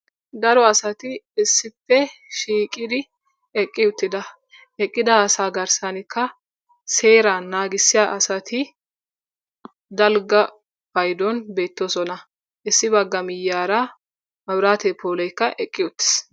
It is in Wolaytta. Daro asati issippe shiiqqidi eqqi uttida. Eqqida asaa garssanikka seeraa naagisiyaa asati dalgga payduwaan beettoosona. Issi bagga miyiyaara mabiraatiyaa pooleekka eqqi uttiis.